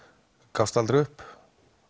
gafst aldrei upp